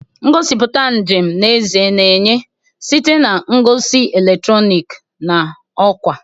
Ngosipụta njem n'ezie na-enye site na ngosi eletrọnịkị na ọkwa.